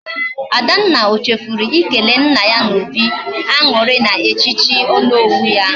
Adanna, o chefuru ikele nna ya na obi añuri na echichi Onowu ya.